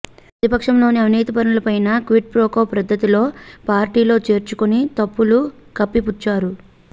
పతిపక్షంలోని అవినీతిపరులనైతే quid pro quo పద్ధతిలో పార్టీలో చేర్చుకుని తప్పులు కప్పిపుచ్చారు